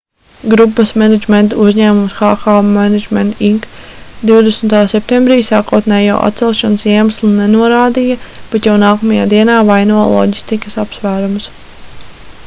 grupas menedžmenta uzņēmums hk management inc 20. septembrī sākotnējo atcelšanas iemeslu nenorādīja bet jau nākamajā dienā vainoja loģistikas apsvērumus